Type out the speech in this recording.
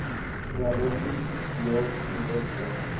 realisties deel projekte